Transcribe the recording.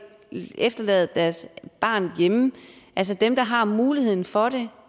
efterlade deres barn hjemme altså dem der har muligheden for det